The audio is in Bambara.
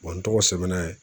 n tɔgɔ sɛbɛn yen.